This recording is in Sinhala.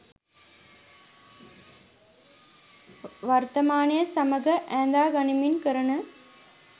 වර්තමානය සමඟ ඈඳා ගනිමින් කරන